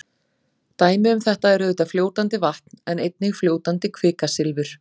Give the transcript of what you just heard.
Dæmi um þetta er auðvitað fljótandi vatn en einnig fljótandi kvikasilfur.